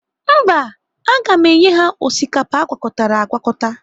Mba, aga m enye ha osikapa agwakọtara agwakọta.